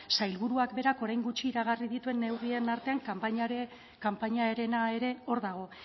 sailburuak berak orain gutxi iragarri dituen neurrien artean kanpainarena ere hor dago